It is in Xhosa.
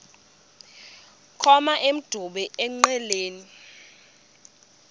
koma emdumbi engqeleni